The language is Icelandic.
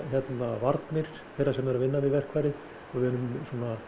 varnir þeirra sem eru að vinna við verkfærið og munum